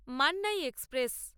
Mannai express